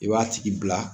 I b'a tigi bila